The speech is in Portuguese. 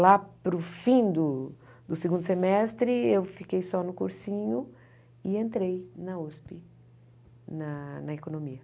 Lá para o fim do segundo semestre, eu fiquei só no cursinho e entrei na USP, na na economia.